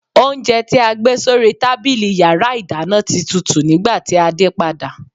Oúnjẹ tí a gbé sórí tábìlì yàrá ìdáná ti tutù nígbàtí a dé padà.